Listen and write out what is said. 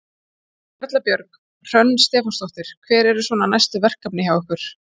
Erla Björg: Hrönn Stefánsdóttir, hver eru svona næstu verkefni hjá ykkur?